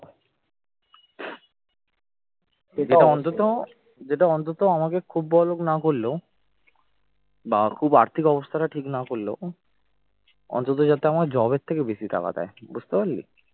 এটা অন্তত আমাকে খুব বড়লোক না করলেও বা খুব আর্থিক অবস্থাটা ঠিক না করলেও অন্তত যাতে আমার job র থেকে বেশি টাকা দেয় বুঝতে পারলি